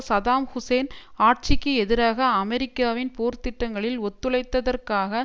Saddam Hussein ஆட்சிக்கு எதிராக அமெரிக்காவின் போர் திட்டங்களில் ஒத்துழைத்ததற்காக